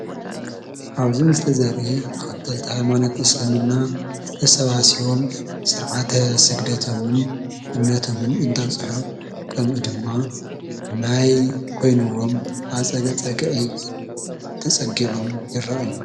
ኣብዚ ምስሊ ዘርኢ ተከተልቲ ሃይማኖት እስልምና ተሰባሲቦም ስርዓተ ስግደቶምን እምነቶምን እንዳብፅሑ ከምኡ ድማ ማይ ኮይኑዎም ኣብ ፀግጊ ፀግጊ ተፀጊዖም ይረኣዩ።